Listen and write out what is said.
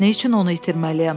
Nə üçün onu itirməliyəm?